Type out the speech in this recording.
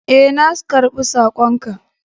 Ee, na karɓi sakon ka.